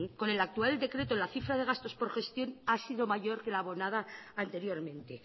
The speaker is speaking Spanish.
con el actual decreto la cifra de gastos por gestión ha sido mayor que la abonada anteriormente